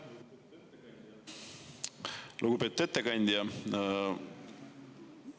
Lugupeetud ettekandja!